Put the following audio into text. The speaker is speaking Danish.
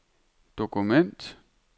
dokument